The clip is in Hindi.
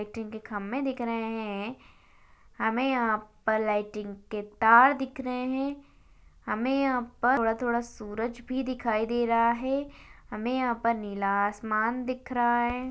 लाइटिंग के खम्भे दिख रहे है हमें यहाँ पर लाइटिंग के तार दिख रहे है हमें यहाँ पर थोड़ा थोड़ा सूरज भी दिखाई दे रहा है हमें यहाँ पर नीला आसमान दिख रहा है।